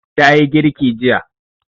Ta yi girki jiya.